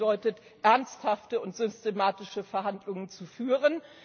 Und das bedeutet, ernsthafte und systematische Verhandlungen zu führen.